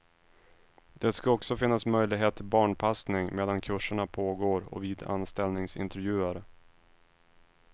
Det ska också finnas möjlighet till barnpassning medan kurserna pågår och vid anställningsintervjuer.